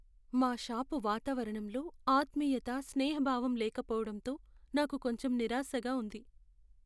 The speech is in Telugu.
మా షాపు వాతావరణంలో ఆత్మీయత, స్నేహభావం లేకపోవడంతో నాకు కొంచెం నిరాశగా ఉంది.